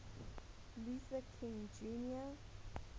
luther king jr